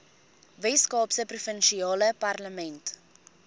weskaapse provinsiale parlement